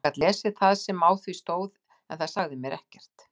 Ég gat lesið það sem á því stóð en það sagði mér ekkert.